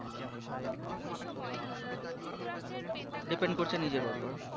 depend করছে নিজের উপর